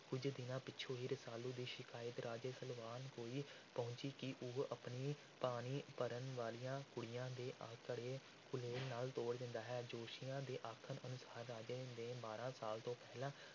ਕੁੱਝ ਦਿਨਾਂ ਪਿੱਛੋਂ ਹੀ ਰਸਾਲੂ ਦੀ ਸ਼ਿਕਾਇਤ ਰਾਜੇ ਸਲਵਾਨ ਕੋਲ ਪਹੁੰਚੀ ਕਿ ਉਹ ਆਪਣੀ ਪਾਣੀ ਭਰਨ ਵਾਲੀਆਂ ਕੁੜੀਆਂ ਦੇ ਘੜੇ ਗੁਲੇਲ ਨਾਲ ਤੋੜ ਦਿੰਦਾ ਹੈ। ਜੋਤਸ਼ੀਆਂ ਦੇ ਆਖਣ ਅਨੁਸਾਰ ਰਾਜੇ ਨੇ ਬਾਰ੍ਹਾਂ ਸਾਲ ਤੋਂ ਪਹਿਲਾਂ